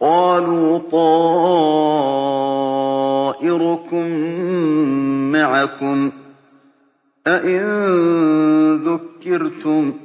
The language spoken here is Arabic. قَالُوا طَائِرُكُم مَّعَكُمْ ۚ أَئِن ذُكِّرْتُم ۚ